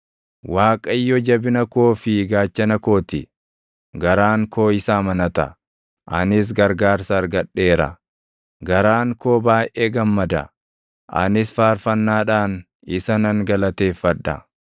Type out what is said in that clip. Waaqayyo jabina koo fi gaachana koo ti; garaan koo isa amanata; anis gargaarsa argadheera. Garaan koo baayʼee gammada; anis faarfannaadhaan isa nan galateeffadha.